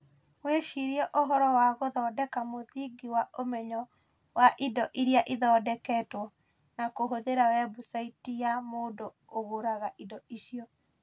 Wĩcirie ũhoro wa gũthondeka mũthingi wa ũmenyo wa indo iria ithondeketwo, na kũhũthĩra webusaĩti ya mũndũ ũgũraga indo icio.